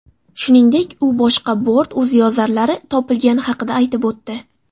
Shuningdek, u boshqa bort o‘ziyozarlari topilgani haqida aytib o‘tdi.